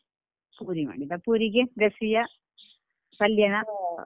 ಪೂರಿ ಮಾಡಿದ್ದಾ ಪೂರಿಗೆ ಗಸಿಯಾ ಪಲ್ಯನಾ?